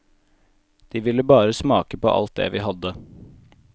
De ville bare smake på alt det vi hadde.